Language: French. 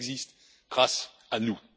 Elle existe grâce à